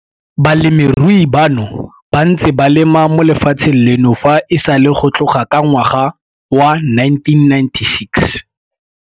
Balemirui bano ba ntse ba lema mo lefatsheng leno fa e sale go tloga ka ngwaga wa 1996.